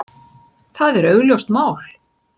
Það er augljóst mál.